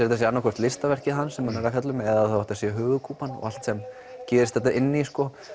þetta sé annað hvort listaverkið hans sem hann er fjalla um eða að þetta sé höfuðkúpan og allt sem gerist inn í